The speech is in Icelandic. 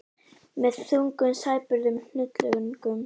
Með þungum sæbörðum hnullungum.